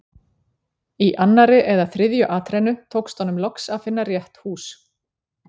Í annarri eða þriðju atrennu tókst honum loks að finna rétt hús.